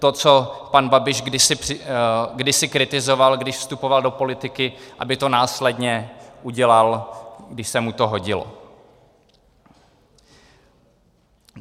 To, co pan Babiš kdysi kritizoval, když vstupoval do politiky, aby to následně udělal, když se mu to hodilo.